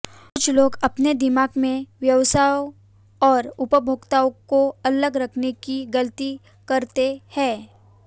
कुछ लोग अपने दिमाग में व्यवसायों और उपभोक्ताओं को अलग करने की गलती करते हैं